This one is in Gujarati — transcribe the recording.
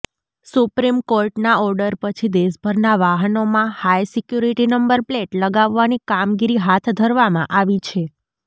સુપ્રિમ કોર્ટના ઓર્ડર પછી દેશભરના વાહનોમાં હાઈસિક્યુરીટી નંબર પ્લેટ લગાવવાની કામગીરી હાથ ધરવામાં આવી છે